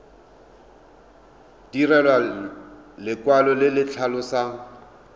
direlwa lekwalo le le tlhalosang